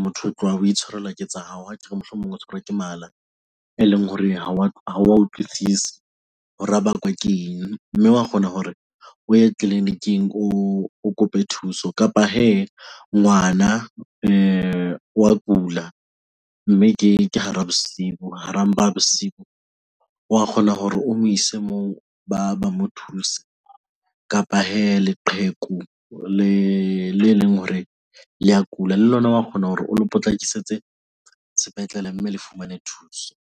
motho o tloha o itshwarelwa ke tsa hao. Ha ke re mohlomong o tshwarwa ke mala eleng hore ha wa utlwisise hore a bakwa ke eng? Mme wa kgona hore o ye tleliniking o kope thuso kapa hee ngwana wa kula mme ke hara bosiu, hara mpa bosiu. Wa kgona hore o mo ise moo ba mo thuse kapa hee leqheku le leng hore le a kula, le lona wa kgona hore o le potlakisetse sepetlele mme le fumane thuso.